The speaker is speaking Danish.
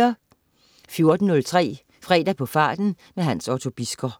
14.03 Fredag på farten. Hans Otto Bisgaard